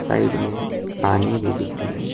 Side में पानी भी दिख रही है।